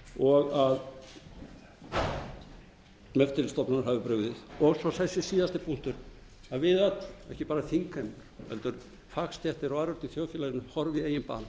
eigendur fjármálafyrirtækja og stofnanir hafi brugðist og svo þessi síðasti punktur að við öll ekki bara þingheimur heldur fagstéttir og aðrir úti í þjóðfélaginu horfi í eigin barm